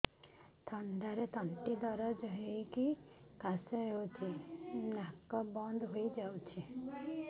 ଥଣ୍ଡାରେ ତଣ୍ଟି ଦରଜ ହେଇକି କାଶ ହଉଚି ନାକ ବନ୍ଦ ହୋଇଯାଉଛି